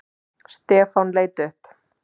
Stefán leit upp.